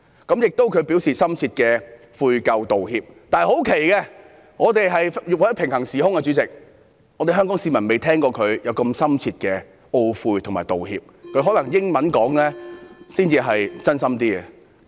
她亦表示深切的悔咎道歉，但奇怪地，我們生活在平行時空，香港市民不曾聽過她作出如此深切的懊悔和道歉，可能她用英語發言時真心一點。